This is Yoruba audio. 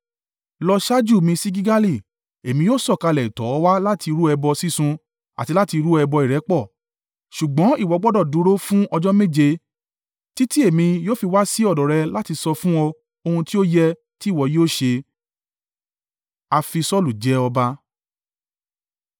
“Lọ ṣáájú mi sí Gilgali. Èmi yóò sọ̀kalẹ̀ tọ̀ ọ́ wá láti rú ẹbọ sísun àti láti rú ẹbọ ìrẹ́pọ̀, ṣùgbọ́n ìwọ gbọdọ̀ dúró fún ọjọ́ méje títí èmi yóò fi wá sí ọ̀dọ̀ rẹ láti sọ fún ọ ohun tí ó yẹ tí ìwọ yóò ṣe.”